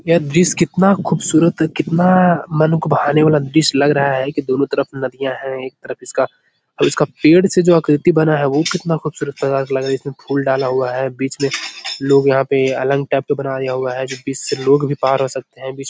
यह दृश्य कितना खुबसूरत कितना मन को भाने वाला दृश्य लग रहा है कि दोनों तरफ नदियां हैं। एक तरफ इसका इसका और इसका पेड़ से जो आकृति बना है वो कितना खुबसूरत प्रकार का लग रहा। इसमें फूल डाला हुआ है। बीच में लोग यहाँ पे अलग टाइप का बनाया हुआ है जो बीच से लोग भी पार हो सकते हैं। बीच --